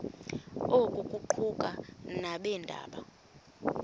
oku kuquka nabeendaba